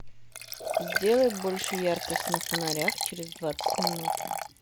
сделай больше яркость на фонарях через двадцать минут